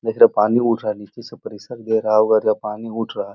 देख रहे हैं पानी उठ रहा है। नीचे से प्रेसर दे रहा होगा करके पानी उठ रहा है।